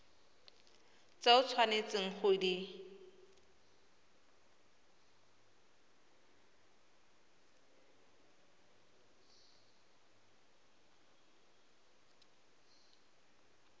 tse o tshwanetseng go di